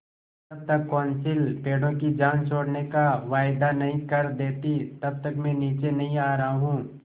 जब तक कौंसिल पेड़ों की जान छोड़ने का वायदा नहीं कर देती तब तक मैं नीचे नहीं आ रहा हूँ